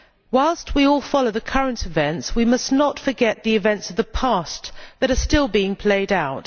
Whilst we all follow current events, we must not forget the events of the past that are still being played out.